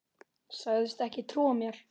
Sagðist ekki trúa mér.